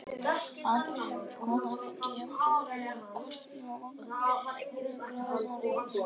Aldrei hefur kona fengið jafn-suðrænan koss á vangann í þriðju gráðu norðangarði.